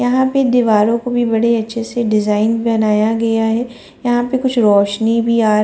यहां पे दीवारों को भी बड़े अच्छे से डिजाइन बनाया गया है यहां पर कुछ रोशनी भी आ --